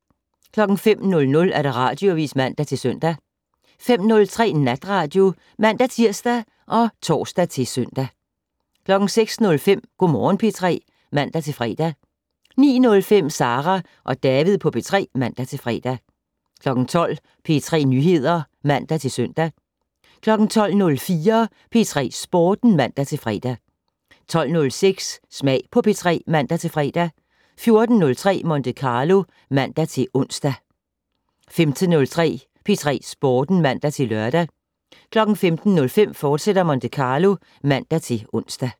05:00: Radioavis (man-søn) 05:03: Natradio (man-tir og tor-søn) 06:05: Go' Morgen P3 (man-fre) 09:05: Sara og David på P3 (man-fre) 12:00: P3 Nyheder (man-søn) 12:04: P3 Sporten (man-fre) 12:06: Smag på P3 (man-fre) 14:03: Monte Carlo (man-ons) 15:03: P3 Sporten (man-lør) 15:05: Monte Carlo, fortsat (man-ons)